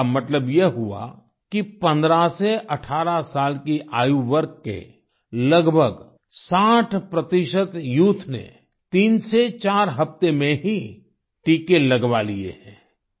इसका मतलब ये हुआ कि 15 से 18 साल की आयुवर्ग के लगभग 60 यूथ ने तीन से चार हफ्ते में ही टीके लगवा लिए हैं